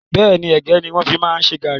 Bẹ́ẹ̀ni, ẹ̀gẹ́ ni wọn fi máa ń ṣe gàárì